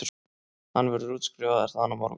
Hann verður útskrifaður þaðan á morgun